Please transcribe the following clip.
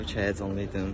Təbii ki, həyəcanlıydım.